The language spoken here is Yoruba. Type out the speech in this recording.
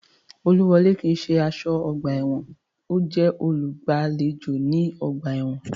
Olúwọlé kii ṣe aṣọ́ ọgbà ẹ̀wọ̀n, ọ́ jẹ́ olùgbàlejò ní ọgbà ẹ̀wọ̀n